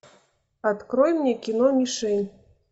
открой мне кино мишень